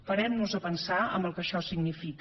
parem nos a pensar en el que això significa